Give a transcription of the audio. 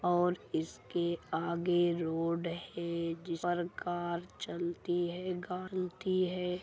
और इसके आगे रोड है जिस पर कार चलती है गारन्टी है।